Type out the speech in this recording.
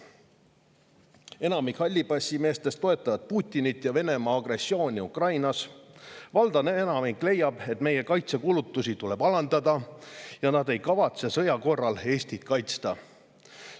Enamik hallipassimeestest toetab Putinit ja Venemaa agressiooni Ukrainas, valdav osa leiab, et meie kaitsekulutusi tuleb alandada, ja nad ei kavatse sõja korral Eestit kaitsta.